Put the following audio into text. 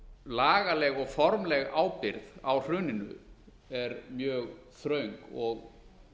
lagaleg og formleg ábyrgð á hruninu er mjög þröng og